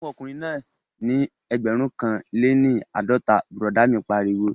Fún ọkùnrin náà ní ẹgbẹ̀rún kan lé ní àádọ́ta, bùrọ̀dá mi pariwo